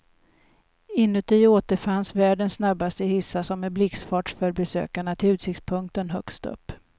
Inuti återfinns världens snabbaste hissar som med blixtfart för besökaren till utsiktspunkten högst upp.